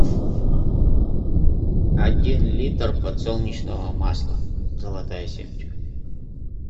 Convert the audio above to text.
один литр подсолнечного масла золотая семечка